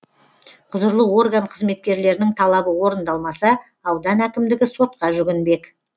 құзырлы орган қызметкерлерінің талабы орындалмаса аудан әкімдігі сотқа жүгінбек